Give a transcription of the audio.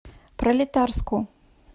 пролетарску